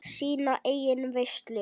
Sína eigin veislu.